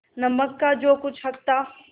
नमक का जो कुछ हक था